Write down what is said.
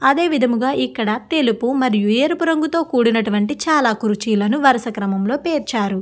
అదే విధముగా ఇక్కడ తెలుపు మరియు ఎరుపు రంగు తో కూడినటువంటి చాలా కుర్చీలాను వరస క్రమంలో పేర్చారు.